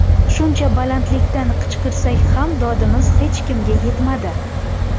Shuncha balandlikdan qichqirsak ham dodimiz hech kimga yetmadi.